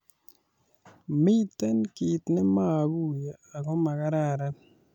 "Mite kiy nemaaguiye ago makararan".